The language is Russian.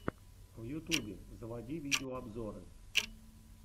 в ютубе заводи видеообзоры